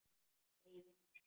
Nei vinur.